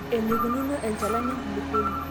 eneikununo enchalan enkuluponi